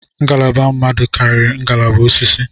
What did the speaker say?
Ngalaba mmadụ karịrị ngalaba osisi